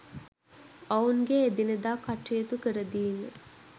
ඔවුන්ගේ එදිනෙදා කටයුතු කරදීම